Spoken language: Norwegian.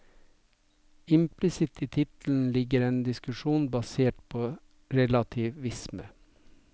Implisitt i tittelen ligger en diskusjon basert på relativisme.